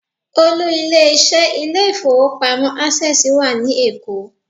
Olú ilé iṣẹ́ ilé ìfowópamọ́ Access wà ní Èkó.